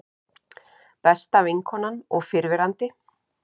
Besta vinkonan og fyrrverandi